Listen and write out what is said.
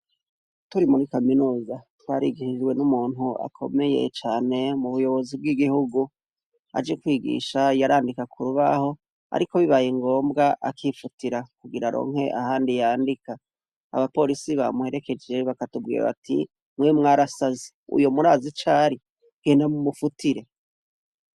Turi muri kaminuza twarigishijwe n'umuntu akomeye cane mubuyobozi bw'igihugu, aje kwigisha yarandika k'urubaho, ariko bibaye ngombwa akifutira kugira aronke ahandi yandika, abaporisi bamuherekeje bakatubwira bati mwe mwarasaze uwo murazi icari genda mu mufutire.